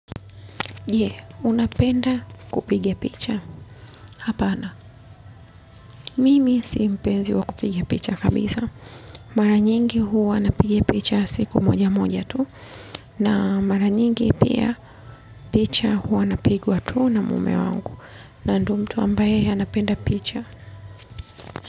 Je, unapenda kupiga picha. Hapana, mimi si mpenzi wa kupiga picha kabisaa. Mara nyingi huwa napiga picha siku moja moja tu. Na mara nyingi pia picha huwa napigwa tu na mume wangu. Na ndio mtu ambaye anapenda picha.